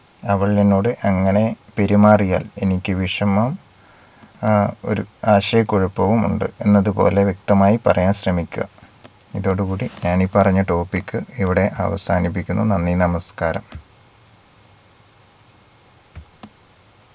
അവൾ എന്നോട് അങ്ങനെ പെരുമാറിയാൽ എനിക്ക് വിഷമം ആ ഒരു ആശയ കുഴപ്പവും ഉണ്ട് എന്നത് പോലെ വ്യക്തമായി പറയാൻ ശ്രമിക്കുക. ഇതോടുകൂടി ഞാൻ ഈ പറഞ്ഞ topic ഇവിടെ അവസാനിപ്പിക്കുന്നു. നന്ദി നമസ്കാരം